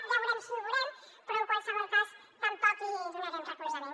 ja veurem si ho veurem però en qualsevol cas tampoc hi donarem recolzament